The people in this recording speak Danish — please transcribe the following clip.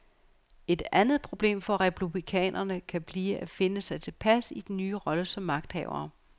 Et andet problem for republikanerne kan blive at finde sig tilpas i den nye rolle som magthavere.